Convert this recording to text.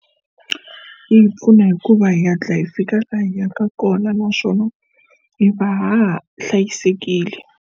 Yi pfuna hikuva hi hatla hi fika laha hi yaka kona naswona hi va ha hlayisekile.